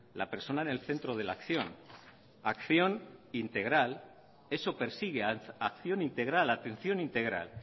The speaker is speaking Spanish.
la persona en el centro de la acción acción integral eso persigue acción integral atención integral